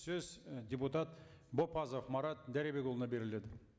сөз і депутат бопазов марат дәребекұлына беріледі